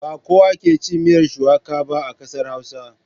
Ba kowa ke cin miyar shuwaka ba a ƙasar Hausa.